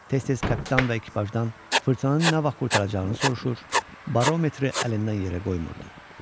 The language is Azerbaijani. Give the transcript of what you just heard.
Tez-tez kapitan və ekipajdan fırtınanın nə vaxt qurtaracağını soruşur, barometri əlindən yerə qoymurdu.